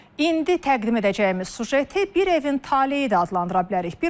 İndi təqdim edəcəyimiz süjeti bir evin taleyi də adlandıra bilərik.